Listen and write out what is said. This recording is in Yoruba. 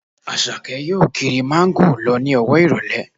Àṣàkẹ́ yóò kiri Máńgò lọ ní ọwọ́ ìrọ̀lẹ́